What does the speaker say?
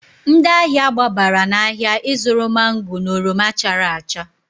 Ndị ahịa gbabara n'ahịa ịzụrụ mango na oroma chara acha.